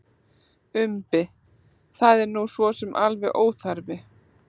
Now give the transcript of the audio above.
Umbi: Það er nú sosum alveg óþarfi.